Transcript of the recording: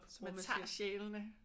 Så man tager sjælene?